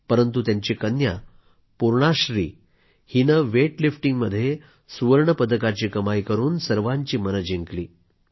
परंतु त्यांची कन्या पूर्णाश्री हिनं वेट लिफ्टिंगमध्ये सुवर्ण पदकाची कमाई करून सर्वांची मनं जिंकली